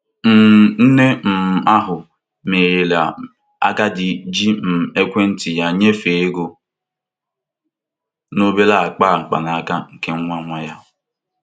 um Nne um ahụ merela agadi ji um ekwentị ya nyefee ego na obere akpa mkpanaka nke nwa nwa ya.